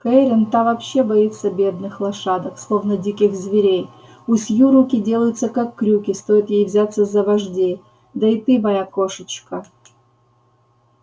кэррин-та вообще боится бедных лошадок словно диких зверей у сью руки делаются как крюки стоит ей взяться за вождей да и ты моя кошечка